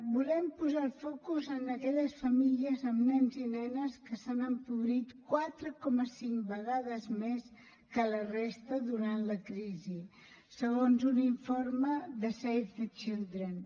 volem posar el focus en aquelles famílies amb nens i nenes que s’han empobrit quatre coma cinc vegades més que la resta durant la crisi segons un informe de save the children